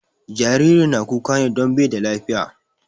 Jaririn na kuka ne don bai da lafiya